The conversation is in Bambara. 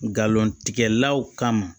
Galon tigɛlaw kama